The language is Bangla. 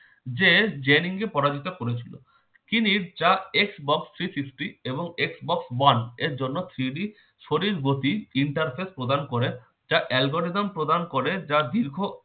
যে জেনিন কে পরাজিত করেছিল। তিনি যা Xbox three fifty এবং Xbox one এর জন্য three d শরীর গতি interface প্রদান করেন যা algorithm প্রদান করে যা দীর্ঘ